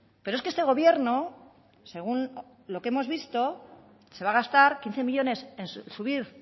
pero es que este gobierno según lo que hemos visto se va a gastar quince millónes en subir